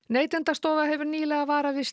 Neytendastofa hefur nýlega varað við